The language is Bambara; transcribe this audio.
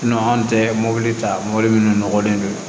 anw tɛ mɔbili ta mobili minnu nɔgɔlen don